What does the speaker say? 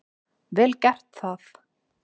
Vel gert það.